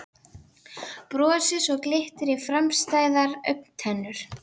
Brosi svo glittir í framstæðar augntennur.